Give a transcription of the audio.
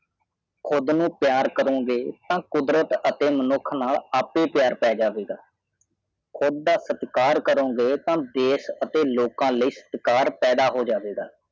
ਖੁਦ ਕੋ ਪਿਆਰ ਕਰੋਗੇ ਤੋਂ ਕੁਦਰਤ ਅਤੇ ਮਾਨੁਖ ਨਾਲ ਆਪੇ ਪਿਆਰ ਪਾਏ ਜਾਏਗਾ ਖੁਦ ਦਾ ਸਤਕਾਰ ਕਰੌਰੋਂ ਜੀ ਤੇ ਦੇਸ ਆਤੇ ਲੁੱਕਾ ਲਾਈ ਸਤਕਾਰ ਪਾਇਆ ਹੋ ਜਵੇਗਾ